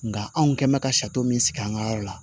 Nka anw kɛn mɛ ka sari min sigi an ka yɔrɔ la